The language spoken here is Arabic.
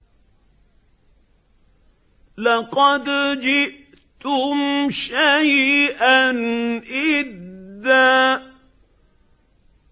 لَّقَدْ جِئْتُمْ شَيْئًا إِدًّا